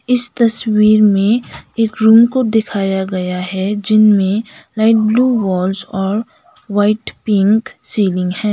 इस तस्वीर में एक रूम को दिखाया गया है जिनमें लाइट ब्लू वॉल्स और व्हाइट पिंक सीलिंग है।